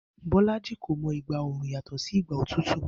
Bó̩lájì kò mo̩ ìgbà oru yàtò̩ sí ìgbà òtútù